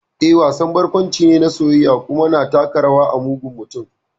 Eh, wasan barkwanci ne na soyayya, kuma na taka rawa a mugun mutum.